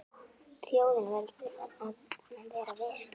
Þjóðin verður að vera virk.